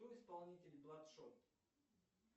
кто исполнитель бладшот